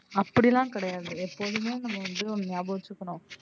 அப்படிலாம் கிடையாது எப்போதுமே நம்ம வந்து ஒன்னு நியாபகம் வச்சுக்கணும்.